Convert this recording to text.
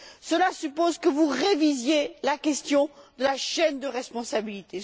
Cela suppose que vous révisiez la question de la chaîne de responsabilité.